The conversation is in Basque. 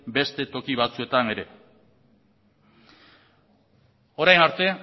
beste toki batzuetan ere orain arte